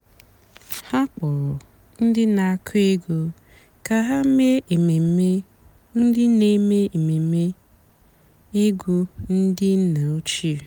há kpọ́rọ́ ndị́ nà-àkụ́ ègwú kà há mèé èmèmé ndị́ nà-èmèé èmèmé ègwú ndị́ nná òchíé.